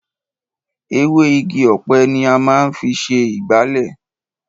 Ewé Igi ọ̀pẹ ni a máa ń fi ṣe ìgbálẹ̀.